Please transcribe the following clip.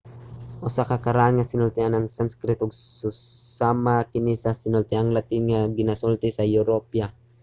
usa ka karaan nga sinultian ang sanskrit ug susama kini sa sinultiang latin nga ginasulti sa europa